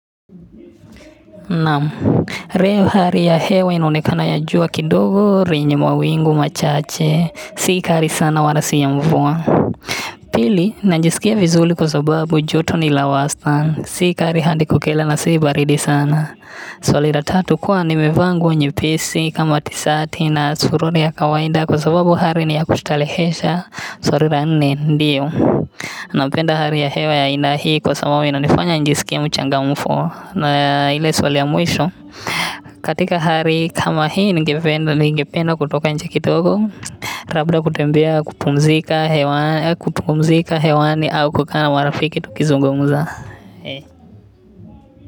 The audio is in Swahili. Naam leo hali ya hewa inaonekana ya jua kidogo lenye mawingu machache si kali sana wala si ya mvua Pili najisikia vizuri kwa sababu joto ni la wastani si kali hadi kukila na si baridi sana Swali la tatu kuwa nimevaa nguo nyepesi kama tisati na suruali ya kawaida kwa sababu hali ni ya kustarehesha swali la nne ndiyo napenda hali ya hewa ya aina hii kwa sababu inanifanya nijiskie mchangamfu na ile swali ya mwisho katika hali kama hii ningependa ningependa kutoka nje kidogo labda kutembea kupumzika hewani au kukaa na marafiki tukizungumza.